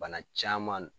Bana caman